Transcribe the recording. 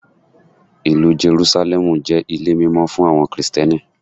Ìlú Jerúsálẹ́mù jẹ́ ilé mímọ́ fún àwọn Kristẹni.